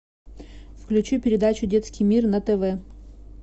включи передачу детский мир на тв